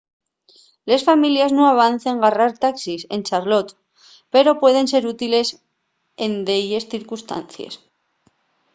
les families nun avecen garrar taxis en charlotte pero pueden ser útiles en delles circunstancies